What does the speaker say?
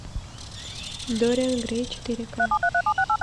дориан грей четыре ка